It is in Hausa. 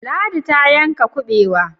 Ladi ta yanka kubewa.